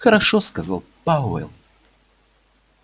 хорошо сказал пауэлл